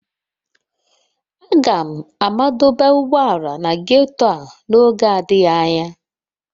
Aga m madọba ụgbọala na ghetto a n'oge adịghị anya